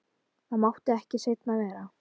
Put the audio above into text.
Það mátti ekki seinna vera!